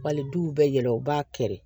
Wali du bɛ yɛlɛ u b'a kɛ de